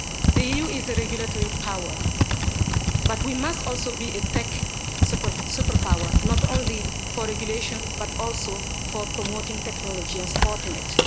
The EU is a regulatory power, but we must also be a tech superpower, not only for regulation but also for promoting technology and supporting it.